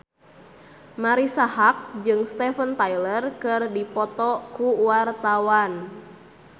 Marisa Haque jeung Steven Tyler keur dipoto ku wartawan